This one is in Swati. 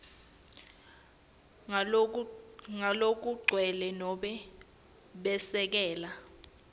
ngalokugcwele nobe besekele